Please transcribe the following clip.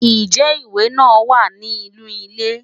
Ǹjẹ́ ìwé náà wà ní inú ilé?